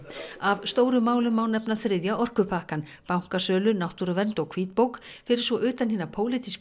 af stórum málum má nefna þriðja orkupakkann bankasölu náttúruvernd og hvítbók fyrir svo utan hina pólitísku